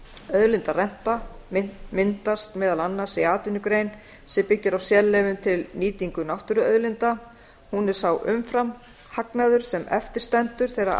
auðlindarenta myndast meðal annars í atvinnugrein sem byggir á sérleyfum til nýtingar náttúruauðlinda hún er sá umfram hagnaður sem eftir stendur þegar